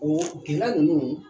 Oo gɛlɛya ninnu